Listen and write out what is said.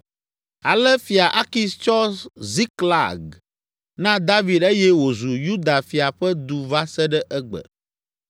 Ale Fia Akis tsɔ Ziklag na David eye wòzu Yuda fia ƒe du va se ɖe egbe.